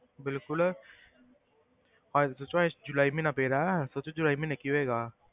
ਬਿਲਕੁਲ ਹਜੇ ਤਾਂ ਜੁਲਾਈ ਜੁਲਾਈ ਮਹੀਨਾ ਪਏ ਦਾ ਸੋਚੋ ਜੁਲਾਈ ਮਹੀਨੇ ਕੀ ਹੋਏਗਾ।